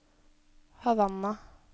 Havanna